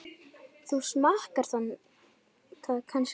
Þú smakkar það kannski aldrei?